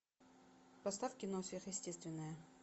поставь кино сверхъестественное